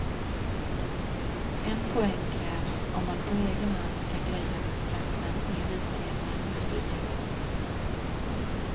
En poäng krävs om man på egen hand ska greja platsen i elitserien efter jul.